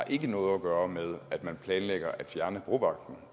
ikke har noget at gøre med at man planlægger at fjerne brovagten